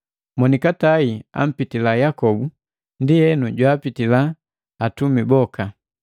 Monikatai ampitila Yakobu ndienu jwaapitila atumi boka.